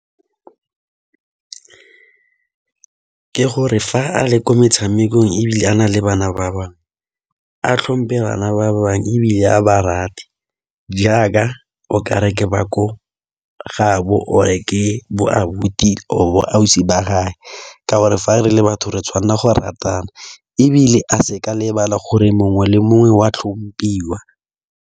Ke gore fa a le kwa metshamekong ebile a na le bana ba bangwe, a tlhompe bana ba bangwe, ebile a ba rate jaaka okare ke ba ko gaabo or ke bo abuti or ausi ba gaye. Ka gore fa re le batho re tshwanela go ratana, ebile a se ka lebala gore mongwe le mongwe o a tlhomphiwa.